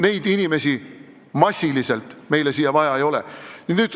Neid inimesi meile siia massiliselt vaja ei ole.